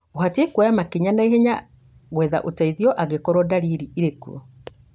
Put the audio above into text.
ũbatiĩ kuoya makinya ma naihenya gwetha ũteithio angĩkorwo ndariri irĩ kuo